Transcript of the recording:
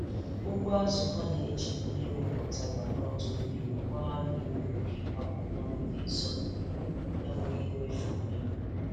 Ugbo azụ ha na-eji mmiri wụpụtara n’ọdụ-mmiri gbaa mmiri n’ogige akwụkwọ nri dị nso, na-enweghị mmefu mmiri.